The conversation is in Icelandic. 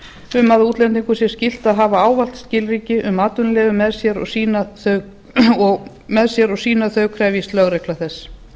um að útlendingum sé skylt að hafa ávallt skilríki um atvinnuleyfi með sér og sýna þau krefjist lögregla þess